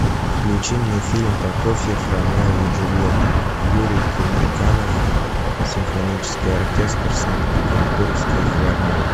включи мне фильм прокофьев ромео и джульетта юрий темирканов симфонический оркестр санкт петербургской филармонии